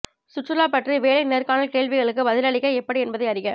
சுற்றுலா பற்றி வேலை நேர்காணல் கேள்விகளுக்கு பதிலளிக்க எப்படி என்பதை அறிக